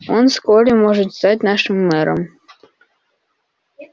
он вскоре может стать нашим мэром